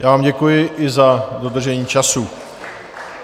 Já vám děkuji, i za dodržení času.